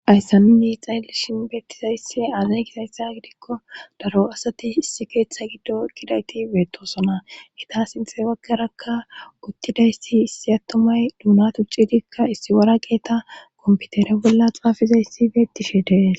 Ayssanini ixayelishin beettizayssi aazay kitayssa gidikko daro asati issi keeththa giddo kidayti beetosona ita sinxe baggarakka guttidayssi issi attomay duuna tuccidikka issi wara qeeta kompitere bolla xaafizayssi beettishe dees.